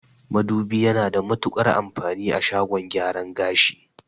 Madubi yana da matuƙar amfani a shagon gyaran gashi